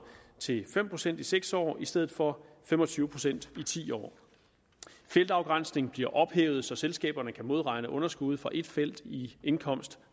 til fem procent i seks år i stedet for fem og tyve procent i ti år feltafgrænsning bliver ophævet så selskaberne kan modregne underskud fra et felt i indkomst